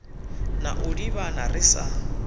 na u ḓivhana ri sa